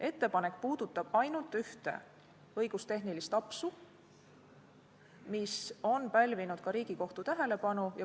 Ettepanek puudutab ainult ühte õigustehnilist apsu, mis on pälvinud ka Riigikohtu tähelepanu.